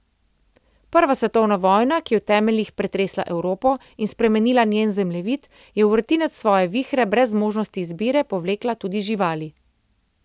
Prva svetovna vojna, ki je v temeljih pretresla Evropo in spremenila njen zemljevid, je v vrtinec svoje vihre, brez možnosti izbire, povlekla tudi živali.